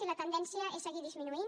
i la tendència és seguir disminuint